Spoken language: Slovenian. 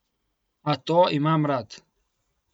A to imam rad.